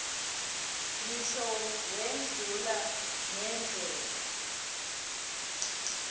ngisho wendlula ngendlela